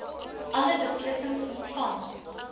alle beslissings ontvang